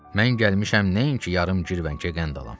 Mən gəlmişəm nəinki yarım girvənkə qənd alam.